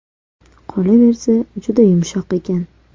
Qolaversa, juda yumshoq ekan.